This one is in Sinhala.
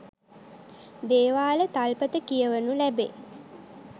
දේවාල තල්පත කියවනු ලැබේ.